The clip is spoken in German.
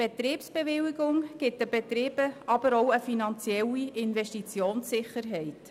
Die Betriebsbewilligung gibt den Betrieben aber auch eine finanzielle Investitionssicherheit.